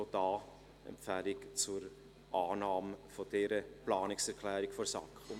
Wir empfehlen auch diese Planungserklärung zur Annahme.